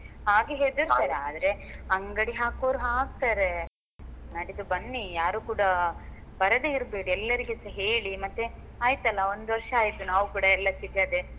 ಹಾಗೆ ಹೆದ್ರತಾರೆ ಆದ್ರೆ ಅಂಗಡಿ ಹಾಕುವವ್ರು ಹಾಕ್ತಾರೆ ನಾಡಿದ್ದು ಬನ್ನಿ ಯಾರು ಕೂಡ ಬರದೇ ಇರ್ಬೇಡಿ ಎಲ್ಲರಿಗೂ ಸ ಹೇಳಿ ಮತ್ತೆ ಆಯ್ತಲ್ಲ ಒಂದು ವರ್ಷ ಆಯಿತು ನಾವು ಕೂಡ ಎಲ್ಲ ಸಿಗದೇ.